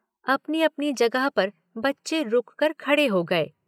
अपनी अपनी जगह पर बच्चे रुक कर खड़े हो गए।